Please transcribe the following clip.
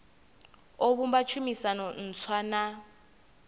o vhumba tshumisano ntswa na